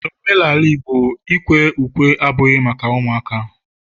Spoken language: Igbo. N'omenala igbo, ikwe ukwe abughi maka ụmụaka